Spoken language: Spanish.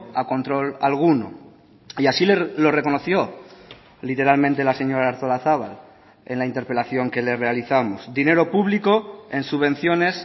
a control alguno y así lo reconoció literalmente la señora artolazabal en la interpelación que le realizamos dinero público en subvenciones